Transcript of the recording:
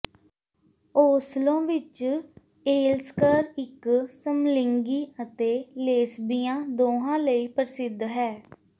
Oslo ਵਿੱਚ ਏਲਸਕਰ ਇੱਕ ਸਮਲਿੰਗੀ ਅਤੇ ਲੇਸਬੀਆਂ ਦੋਹਾਂ ਲਈ ਪ੍ਰਸਿੱਧ ਹੈ